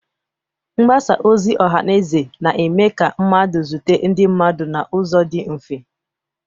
Mgbasa ozi ọha na eze na-eme ka mmadụ zute ndị mmadụ n'ụzọ dị mfe.